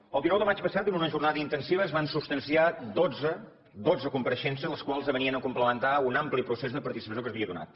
el dinou de maig passat en una jornada intensiva es van substanciar dotze dotze compareixences les quals venien a complementar un ampli procés de participació que s’havia donat